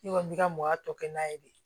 Ne kɔni bɛ ka mɔgɔya tɔkɛn'a ye de